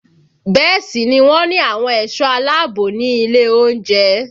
Bẹ́ẹ̀ sì ni wọ́n ní àwọn ẹ̀sọ́ aláààbò ní ilé oúnjẹ